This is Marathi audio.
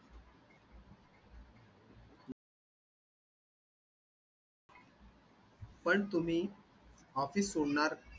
आहेत पण तुम्ही office सोडणार